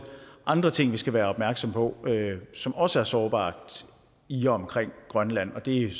andre ting vi skal være opmærksomme på som også er sårbart i og omkring grønland det er